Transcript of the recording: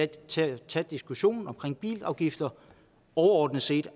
til at tage diskussionen om bilafgifter overordnet set